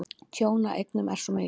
Tjón á eignum er mikið.